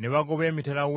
y’Abageresene eyolekedde Ggaliraaya.